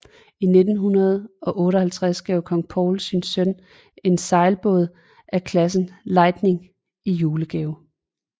I 1958 gav kong Paul sin søn en sejlbåd af klassen Lightning i julegave